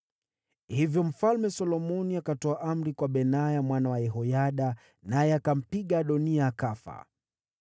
Hivyo Mfalme Solomoni akatoa amri kwa Benaya mwana wa Yehoyada, naye akampiga Adoniya akafa.